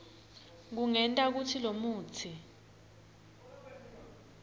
kungenta kutsi lomutsi